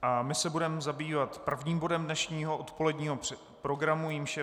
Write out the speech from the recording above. A my se budeme zabývat prvním bodem dnešního odpoledního programu, jímž je